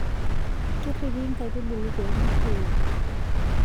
Kerripi nkaitubulu pee merruoyo.